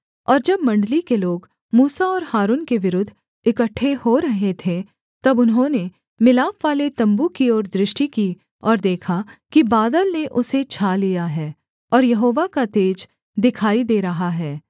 और जब मण्डली के लोग मूसा और हारून के विरुद्ध इकट्ठे हो रहे थे तब उन्होंने मिलापवाले तम्बू की ओर दृष्टि की और देखा कि बादल ने उसे छा लिया है और यहोवा का तेज दिखाई दे रहा है